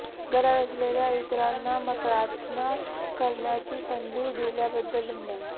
गरज असलेल्या इतरांना प्रार्थना करण्याची संधी दिल्याबद्दल धन्यवाद